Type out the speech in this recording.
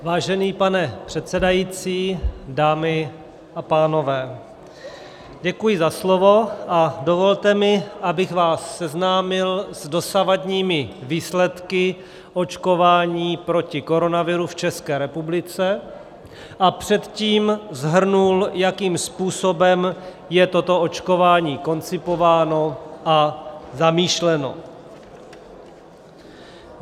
Vážený pane předsedající, dámy a pánové, děkuji za slovo a dovolte mi, abych vás seznámil s dosavadními výsledky očkování proti koronaviru v České republice a předtím shrnul, jakým způsobem je toto očkování koncipováno a zamýšleno.